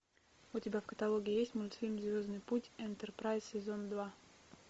у тебя в каталоге есть мультфильм звездный путь энтерпрайз сезон два